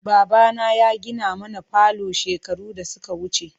Babana ya gina mana falo shekaru da suka wuce.